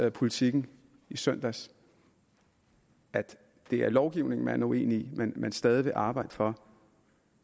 i politiken i søndags at det er lovgivningen man er uenig men at man stadig vil arbejde for